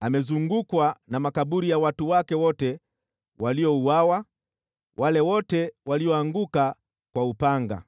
amezungukwa na makaburi ya watu wake wote waliouawa, wale wote walioanguka kwa upanga.